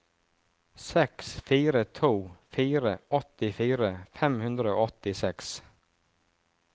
seks fire to fire åttifire fem hundre og åttiseks